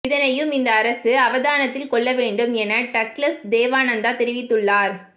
இதனையும் இந்த அரசு அவதானத்தில் கொள்ள வேண்டும் என டக்ளஸ் தேவானந்தா தெரிவித்துள்ளார்